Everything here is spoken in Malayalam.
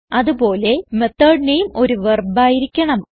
അത്പോലെ മെത്തോട് നാമെ ഒരു വെർബ് ആയിരിക്കണം